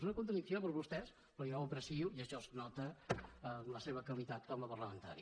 és una contradicció per a vostès però jo ho aprecio i això es nota en la seva qualitat com a parlamentari